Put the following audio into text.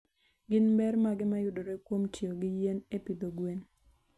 Gin ber mage mayudore kuom tiyo gi yien e pidho gwen?